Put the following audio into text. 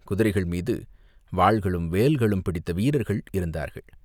குதிரைகள் மீது வாள்களும், வேல்களும் பிடித்த வீரர்கள் இருந்தார்கள்.